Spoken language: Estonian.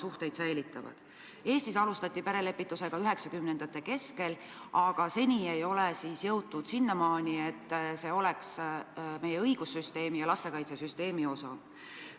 Eestis alustati perelepitusega 1990. aastate keskel, aga seni ei ole jõutud sinnamaale, et see oleks meie õigussüsteemi ja lastekaitsesüsteemi osa.